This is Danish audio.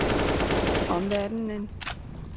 omverdenen